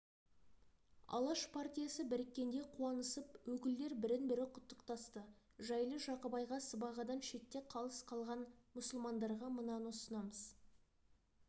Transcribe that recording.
алаш партиясы біріккенде қуанысып өкілдер бірін-бірі құттықтасты жарлы-жақыбайға сыбағадан шетте қағыс қалған мұсылмандарға мынаны ұсынамыз